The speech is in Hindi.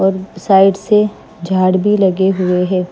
और साइड से झाड़ भी लगे हुए हैं।